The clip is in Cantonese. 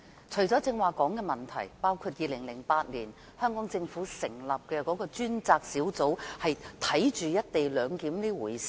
除了剛才說的問題，包括2008年香港政府成立專責小組監察"一地兩檢"這回事。